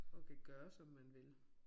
Og kan gøre som man vil